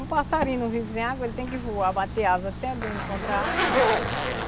Um passarinho não vive sem água, ele tem que voar, bater asas até ele encontrar água, né?